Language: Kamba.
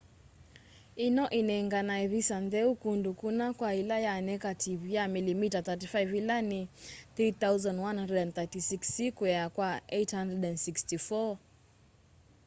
ino inenganae visa ntheu kundu kuna kwa ila ya nekativu ya milimita 35 ila ni 3136 sikwea kwa 864